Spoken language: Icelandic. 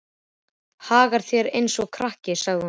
Hagar þér eins og krakki, sagði hún.